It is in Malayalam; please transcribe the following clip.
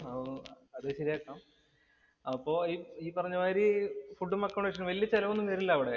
അത് ശരിയാക്കാം. അപ്പൊ ഈ പറഞ്ഞ മാതിരി ഫുഡും, അക്കോമഡേഷനും വല്യ ചെലവ് ഒന്നും വരില്ല അവിടെ.